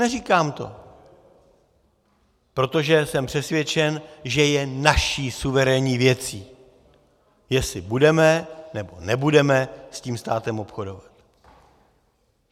Neříkám to, protože jsem přesvědčen, že je naší suverénní věcí, jestli budeme, nebo nebudeme s tím státem obchodovat.